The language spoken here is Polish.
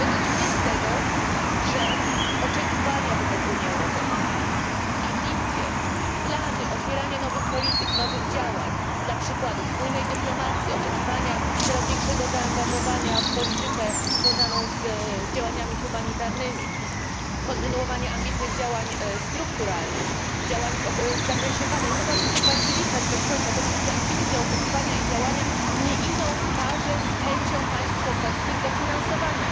Według mnie wynika z oczekiwań wobec Unii Europejskiej, ambicji, planów, otwierania nowych polityk, nowych działań, jak na przykład wspólnej dyplomacji, coraz większego zaangażowania w politykę związaną z działaniami humanitarnymi, kontynuowania ambitnych działań strukturalnych, działań w zakresie badań mogłabym tutaj wyliczać bez końca. Te wszystkie ambicje, działania i oczekiwania nie idą w parze z chęcią państw członkowskich do ich finansowania.